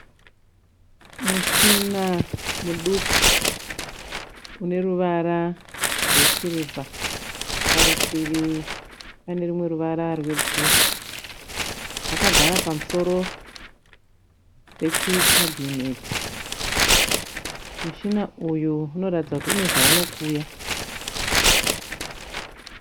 Mushina muduku uneruvara rwe sirivha. Parutivi pane rumwe ruvara rwe bhuruu. Wakagara pamusoro pechi kabhineti. Mushina uyu unoratidza kuti une zvaunokuya.